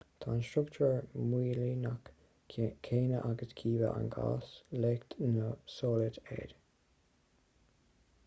tá an struchtúr móilíneach céanna aige cibé an gás leacht nó solad é